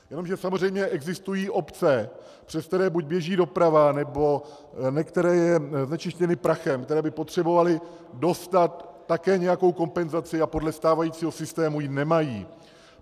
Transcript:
Jenomže samozřejmě existují obce, přes které buď běží doprava, nebo některé jsou znečištěny prachem, které by potřebovaly dostat také nějakou kompenzaci a podle stávajícího systému ji nemají.